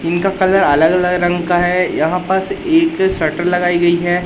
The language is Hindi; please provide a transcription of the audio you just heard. इनका कलर अलग अलग रंग का है यहां पास एक सटर लगाई गई है।